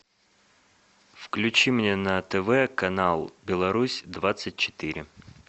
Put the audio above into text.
включи мне на тв канал беларусь двадцать четыре